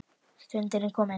Stundin er komin.